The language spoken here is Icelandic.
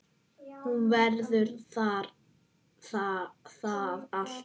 Hún verður það alltaf